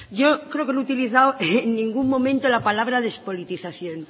yo creo que no he utilizado en ningún momento la palabra despolitización